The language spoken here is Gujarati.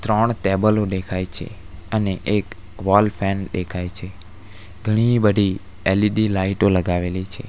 ત્રણ ટેબલો દેખાય છે અને એક વોલ ફેન દેખાય છે ઘણી-બધી એલ_ઇ_ડી લાઇટો લગાવેલી છે.